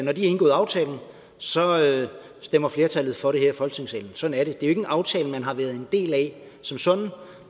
har indgået aftalen så stemmer flertallet for det her i folketingssalen sådan er det det er en aftale man har været en del af som sådan